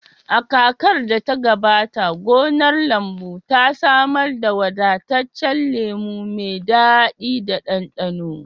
A kakar da ta gabata, gonar lambu ta samar da wadataccen lemu mai daɗi da ɗanɗano.